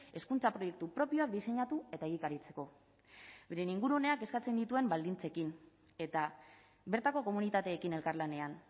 hezkuntza proiektu propioak diseinatu eta egikaritzeko beren inguruneak eskatzen dituen baldintzekin eta bertako komunitateekin elkarlanean